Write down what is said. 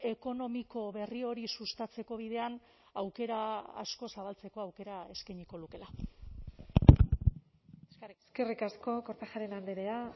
ekonomiko berri hori sustatzeko bidean aukera asko zabaltzeko aukera eskainiko lukeela eskerrik asko kortajarena andrea